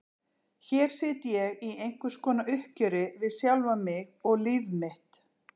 Hér sit ég í einhvers konar uppgjöri við sjálfan mig og líf mitt.